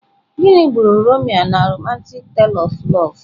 Gịnị gburu Romeo na romantic tale of love?